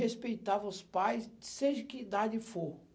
respeitava os pais, seja que idade for.